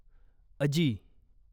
अजी